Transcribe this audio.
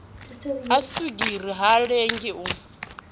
ha swigiri ha lengi u